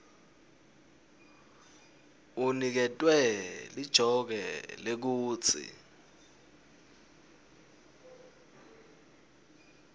uniketwe lijoke lekutsi